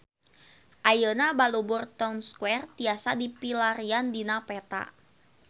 Ayeuna Balubur Town Square tiasa dipilarian dina peta